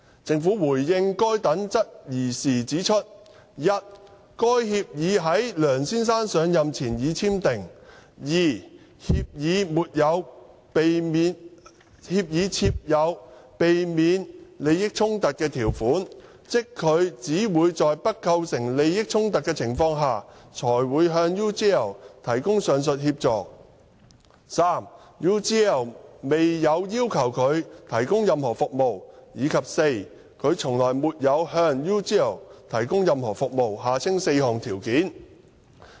政府回應該等質疑時指出 ：i 該協議在梁先生上任前已簽訂；協議設有避免利益衝突條款，即他只會在不構成任何利益衝突的情況下，才會向 UGL 提供上述協助 ；UGL 未有要求他提供任何服務；以及他從來沒有向 UGL 提供任何服務。